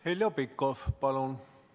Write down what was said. Heljo Pikhof, palun!